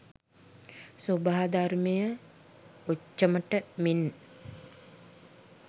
ස්වාභාවධර්මය ඔච්චමට මෙන්